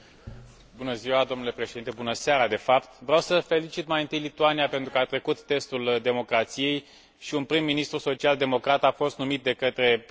Vreau să felicit mai întâi Lituania pentru că a trecut testul democrației și un prim ministru social democrat a fost numit de către președintele aparținând familiei populare.